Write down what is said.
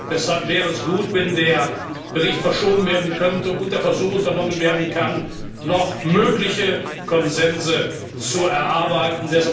Deshalb wäre es gut, wenn der Bericht verschoben werden könnte und der Versuch unternommen werden kann, noch mögliche Konsense zu erarbeiten.